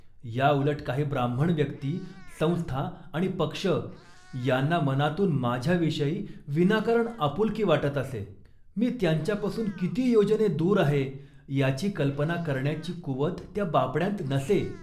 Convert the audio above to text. याउलट, काही ब्राह्मण व्यक्ती, संस्था आणि पक्ष यांना मनातून माझ्याविषयी विनाकारण आपुलकी वाटत असे . मी त्यांच्यापासून किती योजने दूर आहे याची कल्पना करण्याची कुवत त्या बापड्यांत नसे.